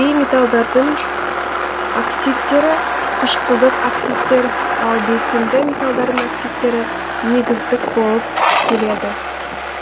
бейметалдардың оксидтері қышқылдық оксидтер ал белсенді металдардың оксидтері негіздік болып келеді